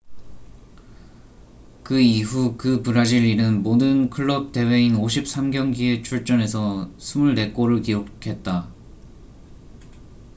그 이후 그 브라질인은 모든 클럽 대회인 53경기에 출전해서 24골을 기록했다